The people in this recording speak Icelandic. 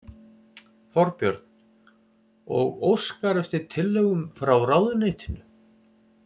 Þorbjörn: Og óskar eftir tillögum frá ráðuneytinu?